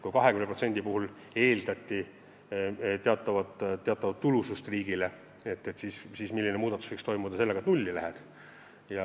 Kui 20% puhul eeldati teatavat tulu riigile, siis milline muudatus võiks toimuda, kui nulli peale läheme?